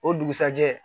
O dugusajɛ